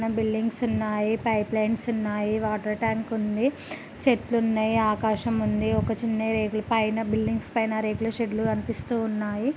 Buildings ఉన్నాయి pipelines ఉన్నాయి water tank ఉంది చెట్లున్నాయి ఆకాశం ఉంది ఒక చిన్న రేకుల పైన బిల్డింగ్స్ పైన రేకుల షెడ్డులు కనిపిస్తూ ఉన్నాయి.